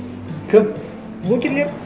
кім блогерлер